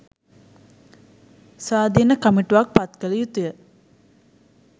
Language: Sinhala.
ස්වාධින කමිටුවක් පත් කල යුතුය